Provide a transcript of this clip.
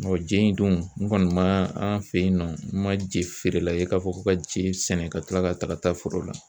je in dun n kɔni man an fɛ yen nɔ n man jefeerela ye k'a fɔ ko ka je in sɛnɛ ka kila ka taga ta foro la.